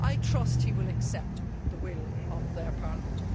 I trust he will accept the will of their Parliament.